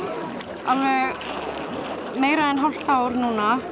alveg meira en hálft ár núna